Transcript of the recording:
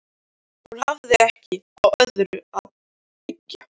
Hún hafði ekki á öðru að byggja.